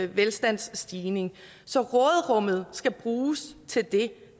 velstandsstigning så råderummet skal bruges til det